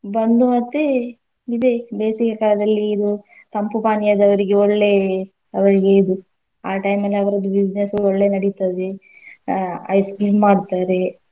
ಬಂದು ಮತ್ತೆ ಇದೆ ಬೇಸಿಗೆ ಕಾಲದಲ್ಲಿ ಇದು ತಂಪು ಪಾನೀಯದವ್ರಿಗೆ ಒಳ್ಳೇ ಅವರಿಗೆ ಇದು ಆ time ಅರ್ವದು business ಒಳ್ಳೇ ನಡಿತದೆ ಅಹ್ ice cream ಮಾಡ್ತಾರೆ.